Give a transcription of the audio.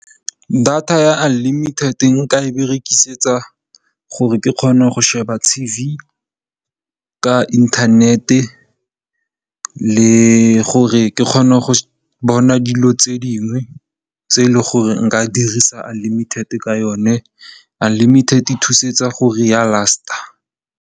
Data ya unlimited nka e berekisetsa gore ke kgona go sheba TV ka inthanete. Le gore ke kgone go bona dilo tse dingwe tse leng gore nka dirisa unlimited ka yone, unlimited e thusetsa gore ya last-a.